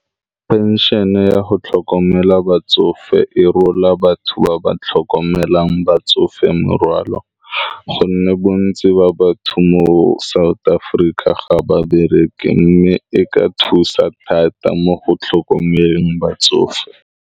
Pension-e ya go tlhokomela batsofe e rola batho ba ba tlhokomelang batsofe morwalo, gonne bontsi ba batho mo South Aforika ga babere mme e ka thusa thata mo go tlhokomeleng batsofe.